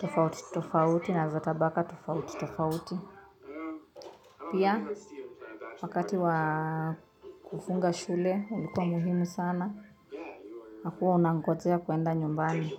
tabaka tufauti tufauti pia wakati wa kufunga shule unikuwa muhimu sana na kuwa unangojea kuenda nyumbani.